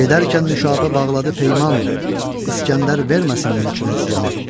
Gedərkən Nüşabə bağladı peyman, İsgəndər verməsin mülkünə ziyan.